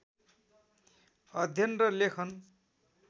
अध्ययन र लेखन